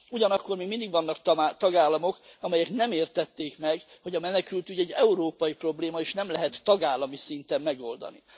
Ugyanakkor még mindig vannak tagállamok, amelyek nem értették meg, hogy a menekültügy európai probléma, és nem lehet tagállami szinten megoldani.